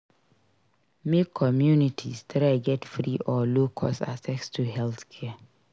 Make communities try get free or low cost access to healthcare